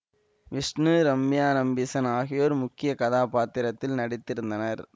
விஷ்ணு ரம்யா நம்பீசன் ஆகியோர் முக்கிய கதாப்பாத்திரத்தில் நடித்திருந்தனர்